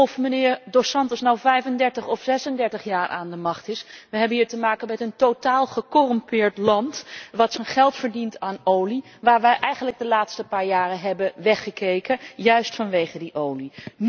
Of meneer Dos Santos nu 35 of 36 jaar aan de macht is, we hebben hier te maken met een totaal gecorrumpeerd land dat zijn geld verdient aan olie, waar wij eigenlijk de laatste paar jaren hebben weggekeken juist vanwege die olie.